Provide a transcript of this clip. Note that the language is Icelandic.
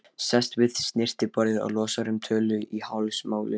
Sest við snyrtiborðið og losar um tölu í hálsmálinu.